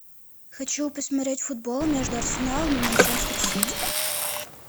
хочу посмотреть футбол между арсеналом и манчестер сити